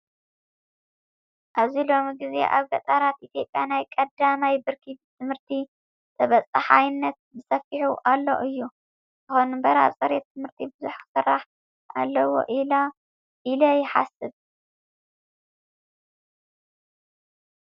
ኣብዚ ሎሚ ግዜ ኣብ ገጠራት ኢትዮጵያ ናይ ቀዳማይ ብርኪ ትምህርቲ ተበፃሓይነት በሰፊሑ ኣሎ እዩ። ይኹን እምበር ኣብ ፅሬት ትምህርቲ ብዙሕ ክስራሕ ኣለዎ ኢለ ይሓስብ።